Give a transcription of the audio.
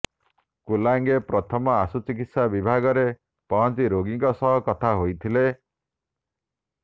କୁଲାଙ୍ଗେ ପ୍ରଥମେ ଆଶୁଚିକିତ୍ସା ବିଭାଗଠାରେ ପହଞ୍ଚି ରୋଗୀଙ୍କ ସହ କଥା ହୋଇଥିଲେ